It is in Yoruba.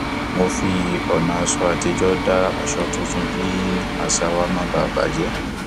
mo fi ònà aṣọ àtijọ dá aṣọ tuntun kí àṣà wa má bà jé